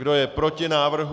Kdo je proti návrhu?